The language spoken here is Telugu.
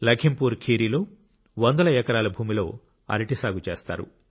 లఖింపూర్ ఖీరిలో వందల ఎకరాల భూమిలో అరటి సాగు చేస్తారు